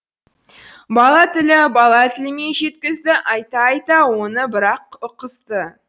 бала тілі бала тілімен жеткізді айта айта оны бірақұққызды